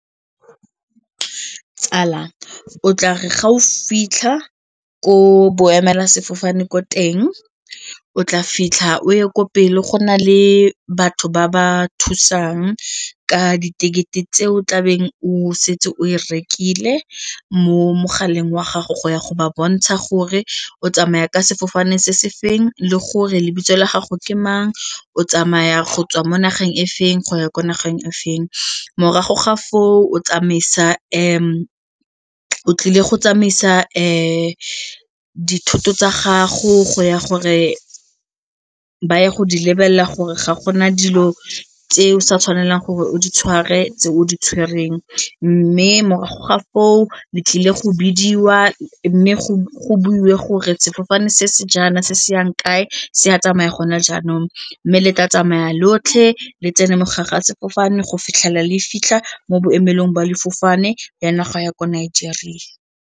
Tsala, o tla re ga o fitlha ko boemelasefofane ko teng, o tla fitlha o ye ko pele go na le batho ba ba thusang ka diketekete tse o tlabeng o setse o rekile mo mogaleng wa gago go ya go ba bontsha gore o tsamaya ka sefofane se se feng le gore le kitso la gago ke mang o tsamaya go tswa mo nageng e feng go ya ko nageng e feng. Morago ga foo, o tlile go tsamaisa dithoto tsa gago go ya gore ba ye go di lebelela gore ga gona dilo tseo sa tshwanelang gore o di tshware tse o di tshwerweng mme morago ga foo le tlile go bidiwa mme go buiwe gore sefofane se se jaana se se yang kae se a tsamaya gona jaanong mme le tla tsamaya lotlhe le tsene sefofane go fitlhelela le fitlha mo boemelong jwa sefofane ya naga ya ko Nigeria.